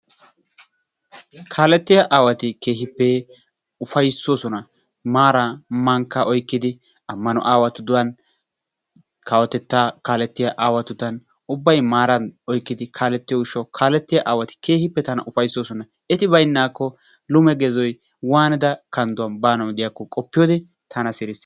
Kaalettiya aawati keehippe ufayssoosona maaraa mankkaa oykkidi ammano aawatudan kawotettaa kaalettiya aawatudan ubbay maaran oykkidi kaalettiyo gishshawu kaalettiya aawati keehippe tana ufayssoosona eti baynnaakko lume gezoy waanida kandduwan baanawu diyakko qoppiyode tana sirisses.